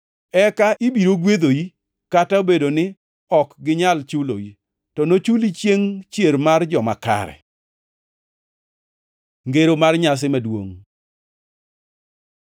eka ibiro gwedhoi kata obedo ni ok ginyal chuloi, to nochuli chiengʼ chier mar joma kare.” Ngero mar nyasi maduongʼ